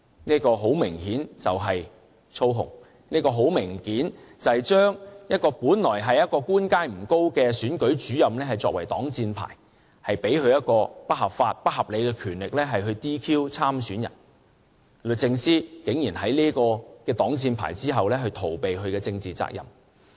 這很明顯是操控，將本來官階不高的選舉主任作為擋箭牌，賦予他們不合法和不合理的權力來 "DQ" 參選人，律政司竟然在這個擋箭牌後逃避其政治責任。